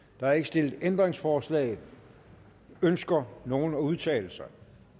der er ikke stillet ændringsforslag ønsker nogen at udtale sig